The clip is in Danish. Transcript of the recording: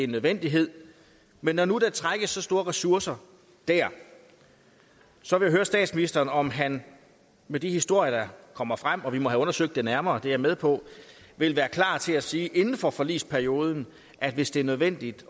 nødvendighed men når nu der trækkes så store ressourcer der så vil jeg høre statsministeren om han med de historier der kommer frem og vi må have undersøgt det nærmere det er jeg med på vil være klar til at sige inden for forligsperioden at hvis det er nødvendigt